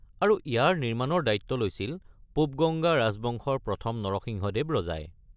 আৰু ইয়াৰ নিৰ্মাণৰ দায়িত্ব লৈছিল পূব-গংগা ৰাজবংশৰ প্ৰথম নৰসিংহদেৱ ৰজাই।